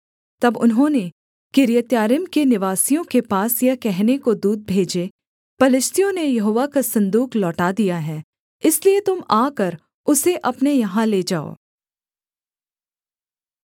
तब उन्होंने किर्यत्यारीम के निवासियों के पास यह कहने को दूत भेजे पलिश्तियों ने यहोवा का सन्दूक लौटा दिया है इसलिए तुम आकर उसे अपने यहाँ ले जाओ